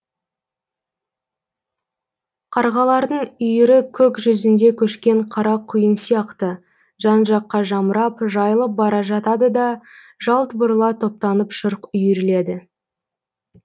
қарғалардың үйірі көк жүзінде көшкен қара құйын сияқты жан жаққа жамырап жайылып бара жатады да жалт бұрыла топтанып шырқ үйріледі